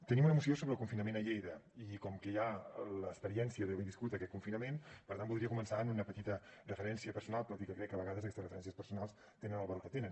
tenim una moció sobre el confinament a lleida i com que hi ha l’experiència d’haver viscut aquest confinament per tant voldria començar amb una petita referència personal tot i que crec que a vegades aquestes referències personals tenen el valor que tenen